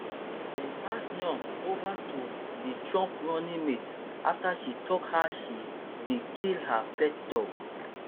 dem pass noem over to be trump running mate afta she tok how she bin kill her pet dog